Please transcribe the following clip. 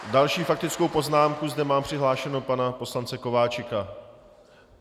Další faktickou poznámku zde mám přihlášeného pana poslance Kováčika.